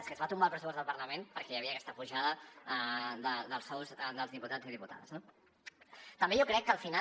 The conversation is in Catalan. és que es va tombar el pressupost del parlament perquè hi havia aquesta pujada dels sous dels diputats i diputades no també jo crec que al final